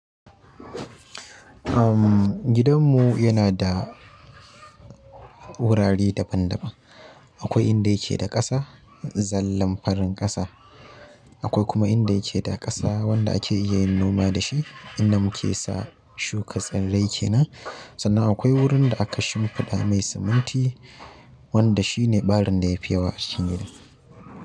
Um, gidanmu yana da wurare daban-daban. Akwai inda yake da ƙasa, zallan farin ƙasa. Akwai kuma inda yake da ƙasa wanda ake iya yin noma da shi, inda muke sa shuka tsirrai kenan. Sannan akwai wurin da aka shimfiɗa mai siminti, wanda shine ɓarin da ya fi yawa cikin gidan.